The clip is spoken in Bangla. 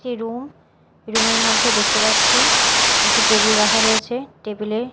যে রুম রুম -এর মধ্যে দেখতে পাচ্ছি একটি টেবিল রাখা রয়েছে টেবিল -এ--